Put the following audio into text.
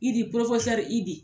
Idi Idi